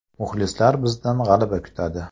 Muxlislar bizdan g‘alaba kutadi.